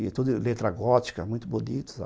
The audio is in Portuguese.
E toda letra gótica, muito bonito, sabe?